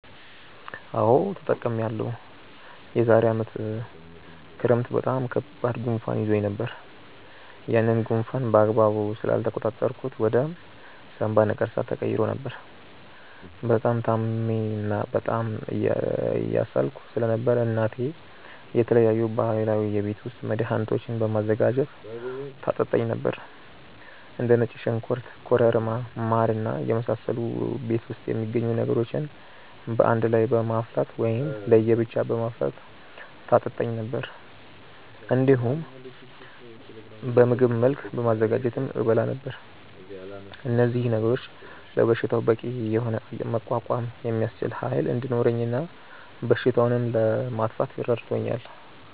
አዎ ተጠቅሜያለሁ። የዛሬ አመት ክረምት በጣም ከባድ ጉንፋን ይዞኝ ነበር። ያንን ጉንፋን በአግባቡ ስላልተቆጣጠርኩት ወደ ሳምባ ነቀርሳ ተቀይሮ ነበር። በጣም ታምሜ እና በጣም እየሳልኩ ስለነበር እናቴ የተለያዩ ባህላዊ የቤት ውስጥ መድሀኒቶችን በማዘጋጀት ታጠጣኝ ነበር። እንደ ነጭ ሽንኩርት ኮረሪማ ማር እና የመሳሰሉ ቤት ውስጥ የሚገኙ ነገሮችን በአንድ ላይ በማፍላት ወይም ለየ ብቻ በማፍላት ታጠጣኝ ነበር። እንዲሁም በምግብ መልክ በማዘጋጀትም እበላ ነበር። እነዚህ ነገሮች ለበሽታው በቂ የሆነ መቋቋም የሚያስችል ኃይል እንዲኖረኝ እና በሽታውንም ለማጥፋት ረድቶኛል።